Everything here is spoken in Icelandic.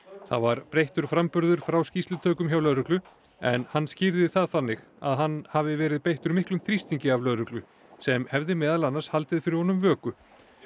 það var breyttur framburður frá skýrslutökum hjá lögreglu en hann skýrði það þannig að hann hafi verið beittur miklum þrýstingi af lögreglu sem hefði meðal annars haldið fyrir honum vöku